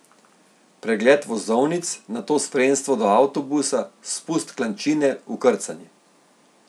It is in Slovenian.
Pregled vozovnic, nato spremstvo do avtobusa, spust klančine, vkrcanje.